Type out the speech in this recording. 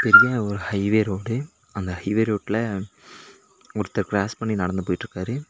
பெரிய ஒரு highway road அந்த ஹைவே ரோட்ல ஒருத்தர் கிராஸ் பண்ணி நடந்து போயிட்ருக்காரு.